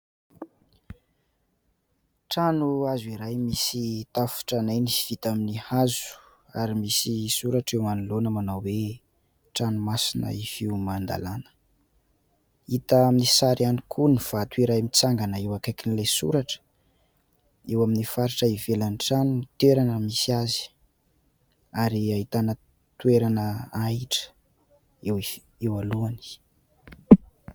trano hazo iray misy tafo tranainy sy vita amin'ny hazo ary misy soratra eo anoloana manao hoe : "trano masina ifio man-dalàna", hita amin'ny sary ihany koa ny vato iray mitsangana eo akaikin'ilay soratra eo amin'ny faritra ivelan'ny trano ny toerana misy azy ary ahitana toerana ahitra eo alohany